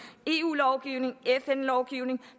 eu lovgivning fn lovgivning